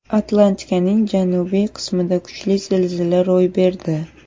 Atlantikaning janubiy qismida kuchli zilzila ro‘y berdi.